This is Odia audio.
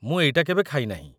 ମୁଁ ଏଇଟା କେବେ ଖାଇନାହିଁ ।